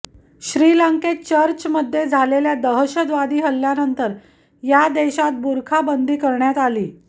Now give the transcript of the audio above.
श्रीलंकेत चर्चमध्ये झालेल्या दहशतवादी हल्ल्यानंतर या देशात बुरखाबंदी करण्यात आली